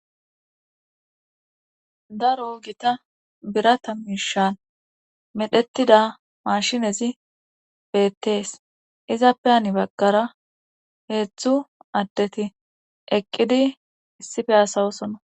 Daro gita birata miishan medhetida mashinezi beettees izappe ani baggara heetzthu addeti eqqidi issife asawosona